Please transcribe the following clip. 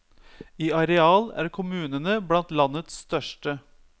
I areal er kommunene blant landets største.